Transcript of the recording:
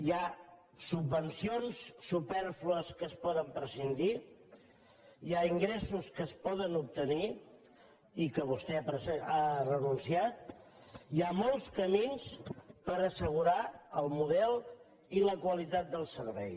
hi ha subven cions supèrflues de què es pot prescindir hi ha in gressos que es poden obtenir i de què vostè ha renunciat hi ha molts camins per assegurar el model i la qualitat del servei